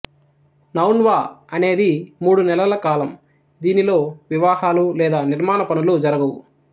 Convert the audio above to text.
నౌన్వా అనేది మూడు నెలల కాలం దీనిలో వివాహాలు లేదా నిర్మాణ పనులు జరగవు